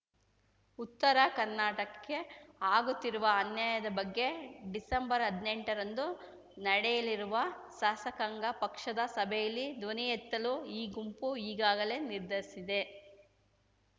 ಉತ್ತರ ಕರ್ನಾಟಕ್ಕೆ ಆಗುತ್ತಿರುವ ಅನ್ಯಾಯದ ಬಗ್ಗೆ ಡಿಸೆಂಬರ್ಹದ್ನೆಂಟರಂದು ನಡೆಯಲಿರುವ ಶಾಸಕಾಂಗ ಪಕ್ಷದ ಸಭೆಯಲ್ಲಿ ಧ್ವನಿಯೆತ್ತಲು ಈ ಗುಂಪು ಈಗಾಗಲೇ ನಿರ್ಧರಿಸಿದೆ